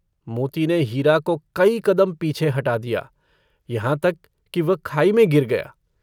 मोती ने हीरा को कई कदम पीछे हटा दिया यहाँ तक कि वह खाई में गिर गया।